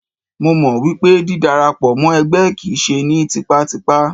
Mo mọ̀ wípé dí dara pọ̀ mọ́ ẹgbẹ́ kìí ṣe ní tipátipá.